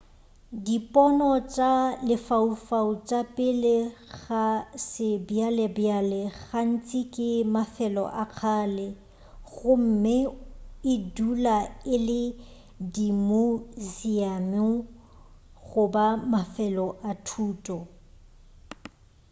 dipono tša lefaufau tša pele ga sebjalebjale gantši ke mafelo a kgale gomme e dula e le dimuseamu goba mafelo a thuto